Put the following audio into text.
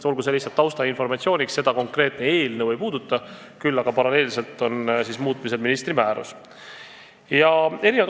Olgu see lihtsalt taustainformatsiooniks, sest konkreetne eelnõu seda ei puuduta, aga muutmisel on ministri määrus.